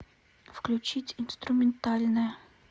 включить инструментальная